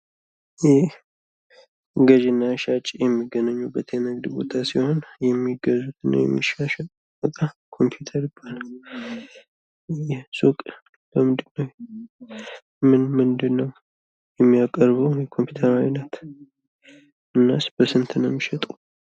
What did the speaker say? ይህ ገዥ እና ሻጭ የሚገናኙበት የንግድ ቦታ ሲሆን ገዥ እና ሻጭ የሚሻሻጡበት ወይም ሱቅ ምን ምንድን ነው ያለው? እናስ በስንት ነው የሚሸጡ?